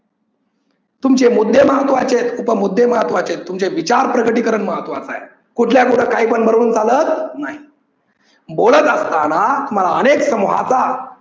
तुमचे मुद्दे महत्वाचे आहेत, उप मुद्दे महत्वाचे आहेत, तुमचे विचार प्रगटीकरण महत्वाच आहे. कुठल्या कुठ काही पण बरडून चालत नाही. बोलत असतांना तुम्हाला अनेक समुहाचा